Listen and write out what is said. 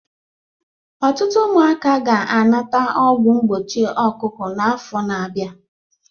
Ọtụtụ ụmụaka ga-anata ọgwụ mgbochi ọkụkọ n'afọ na-abịa